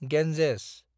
Ganges